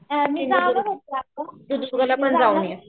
मी जाणार आहे आता